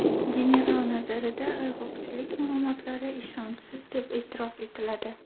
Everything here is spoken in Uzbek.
General nazarida ayg‘oqchilik ma’lumotlari ishonchsiz deb e’tirof etiladi.